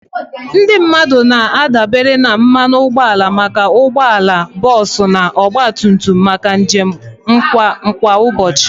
Ndị mmadụ na-adabere na mmanụ ụgbọala maka ụgbọ ala, bọs na ọgba tum tum maka njem kwa ụbọchị.